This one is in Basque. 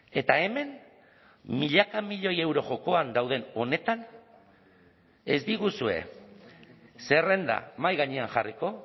eta hemen milaka milioi euro jokoan dauden honetan ez diguzue zerrenda mahai gainean jarriko